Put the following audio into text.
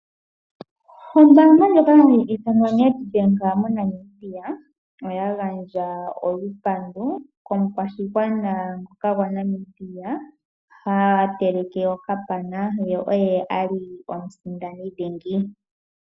Ombaanga ndjoka hayi ithanwa Nedbank moNamibia, oya gandja olupandu komukwashigwana ngoka gwaNamibia ha teleke okapana oye ali omusindani dhingi.